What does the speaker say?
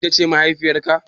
Ita ce mahaifiyar ka?